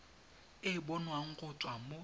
e bonwang go tswa mo